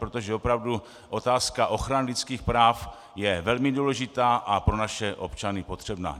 Protože opravdu otázka ochrany lidských práv je velmi důležitá a pro naše občany potřebná.